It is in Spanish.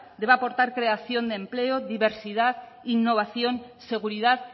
debe aportar creación de empleo diversidad innovación seguridad